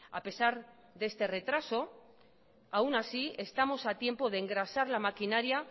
a pesar de este retraso aun así estamos a tiempo de engrasar la maquinaria